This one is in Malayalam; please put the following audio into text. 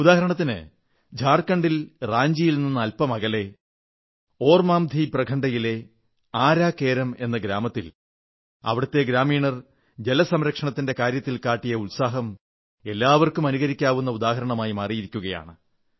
ഉദാഹരണത്തിന് ജാർഖണ്ഡിലെ റാഞ്ചിയിൽ നിന്ന് അല്പമകലെ ഓർമാഞ്ചി ബ്ലോക്കിലെ ആരാ കേരം എന്ന ഗ്രാമത്തിൽ അവിടത്തെ ഗ്രാമീണർ ജല സംരക്ഷണത്തിന്റെ കാര്യത്തിൽ കാട്ടിയ ഉത്സാഹം എല്ലാവർക്കും അനുകരിക്കാവുന്ന ഉദാഹരണമായി മാറിയിരിക്കയാണ്